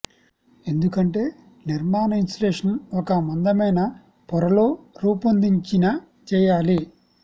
ఎందుకంటే నిర్మాణ ఇన్సులేషన్ ఒక మందమైన పొర లో రూపొందించిన చేయాలి